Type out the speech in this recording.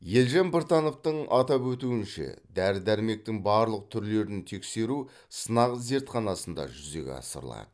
елжан біртановтың атап өтуінше дәрі дәрмектің барлық түрлерін тексеру сынақ зертханасында жүзеге асырылады